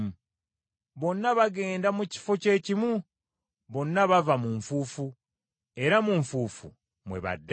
Bonna bagenda mu kifo kye kimu, bonna bava mu nfuufu era mu nfuufu mwe badda.